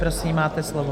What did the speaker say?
Prosím, máte slovo.